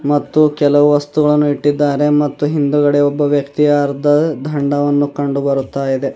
ಮತ್ತು ಕೆಲವು ವಸ್ತುಗಳನ್ನು ಇಟ್ಟಿದ್ದಾರೆ ಮತ್ತು ಹಿಂದುಗಡೆ ಒಬ್ಬ ವ್ಯಕ್ತಿ ಅರ್ಧ ದಂಡವನ್ನು ಕಂಡುಬರುತ್ತಾಯಿದೆ.